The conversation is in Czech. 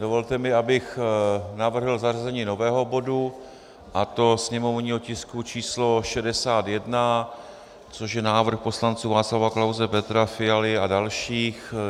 Dovolte mi, abych navrhl zařazení nového bodu, a to sněmovního tisku číslo 61, což je návrh poslanců Václava Klause, Petra Fialy a dalších.